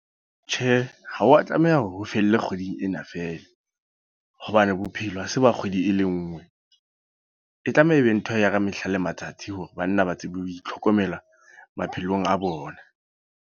Tjhe, ha wa tlameha ho felle kgweding ena fela. Hobane bophelo ha se ba kgwedi e le nngwe. E tlameha e be ntho ya ka mehla le matsatsi hore banna ba tsebe ho itlhokomela, maphelong a bona.